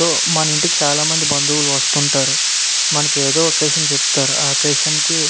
so మన ఇంటి చాల మంది బంధువులు వస్తుంటారు మనకేదో అకెషన్ చెప్తారు ఆ అకెషన్ కి --